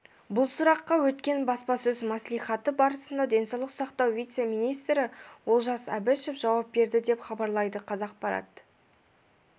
бұл сұраққа өткен баспасөз мәслихаты барысында денсаулық сақтау вице-министрі олжас әбішев жауап берді деп хабарлайды қазақпарат